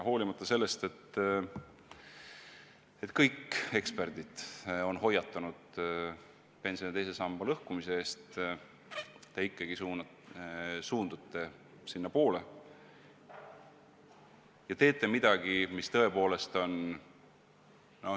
Hoolimata sellest, et kõik eksperdid on hoiatanud pensioni teise samba lõhkumise eest, te ikkagi suundute sinnapoole ja teete midagi, mis tõepoolest on ...